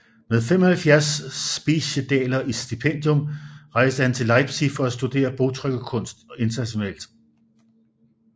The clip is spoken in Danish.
Med 75 speciedaler i stipendium rejste han til Leipzig for at studere bogtrykkerkunst internationalt